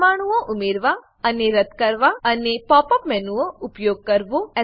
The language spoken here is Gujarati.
પરમાણુઓ ઉમેરવા અને રદ્દ કરવા અને પોપ અપ મેનુનો ઉપયોગ કરવો